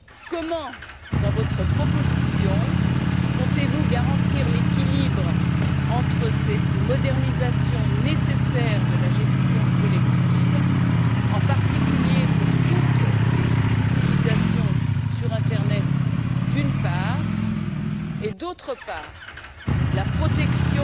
Comment, dans votre proposition, comptez vous garantir l'équilibre entre, d'une part, cette modernisation nécessaire de la gestion collective, en particulier pour toutes les utilisations sur l'internet et, d'autre part, la protection